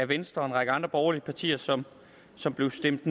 venstre og en række andre borgerlige partier som som blev stemt